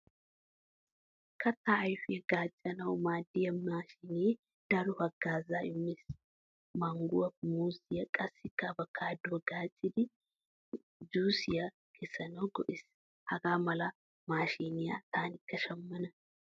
Katta ayfiyaa gaccanawu maadiya maashine daro hagaaazza immees. Mangguwaa, muuzziyaa qassikka avokkaduwaa gaccidi juusiyaa kessanawu go'ees. Hagaa mala maashiniyaa taanikka shammana.